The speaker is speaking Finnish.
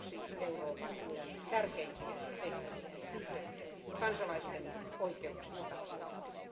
Se on yksi Euroopan unionin tärkeimpiä tehtäviä ja töitä kansalaisten oikeuksista huolehtiminen.